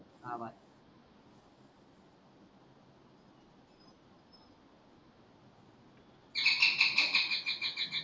आवाज